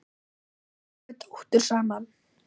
Eigum við dóttur saman?